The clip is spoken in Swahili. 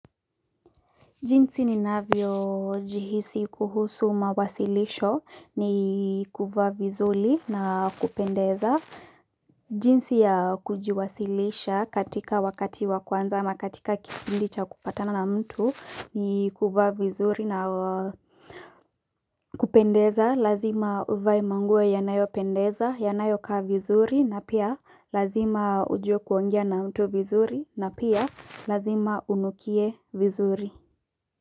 Jinsi ni navyo jihisi kuhusu mawasilisho ni kuvaa vizuri na kupendeza jinsi ya kujiwasilisha katika wakati wa kwanza ama katika kifpndi cha kupatana na mtu ni kuva vizuri na kupendeza lazima uvae manguo yanayo pendeza yanayo kaa vizuri na pia lazima ujue kuongea na mtu vizuri na pia lazima unukie vizuri.